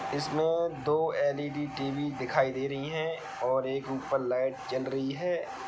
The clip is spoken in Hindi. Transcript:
इसमें दो एल.इ.डी. टी.वी. दिखाई दे रही हैं और एक ऊपर लाइट जल रही है।